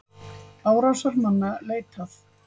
Árásarmanna leitað